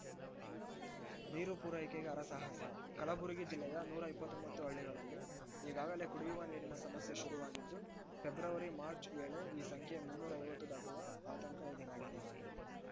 ನೀರು ಪೂರೈಕೆಗೆ ಹರಸಾಹಸ ಕಲಬುರಗಿ ಜಿಲ್ಲೆಯ ನೂರ ಇಪ್ಪತ್ತೊಂಬತ್ತು ಹಳ್ಳಿಗಳಲ್ಲಿ ಈಗಾಗಲೇ ಕುಡಿಯುವ ನೀರಿನ ಸಮಸ್ಯೆ ಶುರುವಾಗಿದ್ದು ಫೆಬ್ರವರಿಮಾರ್ಚ್ ವೇಳೆ ಈ ಸಂಖ್ಯೆ ಮುನ್ನೂರ ಐವತ್ತು ದಾಟುವ ಆತಂಕ ಎದುರಾಗಿದೆ